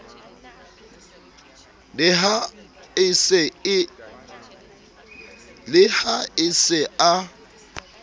le ha e se a